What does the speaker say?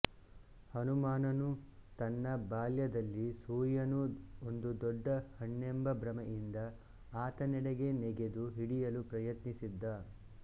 ಹನುಮಾನ್ ನು ತನ್ನ ಬಾಲ್ಯದಲ್ಲಿ ಸೂರ್ಯನು ಒಂದು ದೊಡ್ಡ ಹಣ್ಣೆಂಬ ಭ್ರಮೆಯಿಂದ ಆತನೆಡೆಗೆ ನೆಗೆದು ಹಿಡಿಯಲು ಪ್ರಯತ್ನಿಸಿದ್ದ